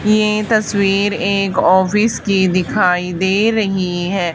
ये तस्वीर एक ऑफिस की दिखाई दे रही है।